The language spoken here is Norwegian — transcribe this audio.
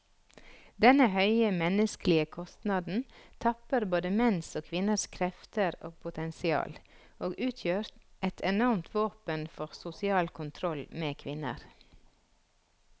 Denne høye menneskelige kostnaden tapper både menns og kvinners krefter og potensial, og utgjør et enormt våpen for sosial kontroll med kvinner.